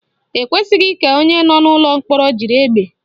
Ekwesịghị ka onye nọ n'ụlọ mkpọrọ jiri egbe